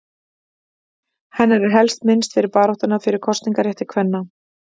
Hennar er helst minnst fyrir baráttuna fyrir kosningarétti kvenna.